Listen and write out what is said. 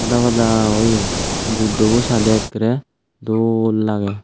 pada pada oye buddobo sade ekkere dol lage.